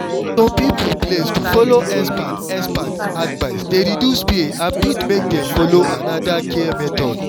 for some people place to follow expert expert advice dey reduce fear and fit make dem follow another care method.